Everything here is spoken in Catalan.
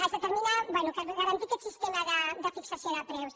es determina bé garantir aquest sistema de fixació de preus